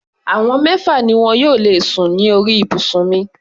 Àwọn mẹ́fà ni wọn yóò lè sùn ní orí ibùsùn mi.